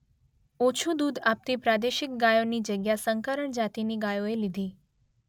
ઓછું દૂધ આપતી પ્રાદેશિક ગાયોની જગ્યા સંકરણ જાતિની ગાયોએ લીધી.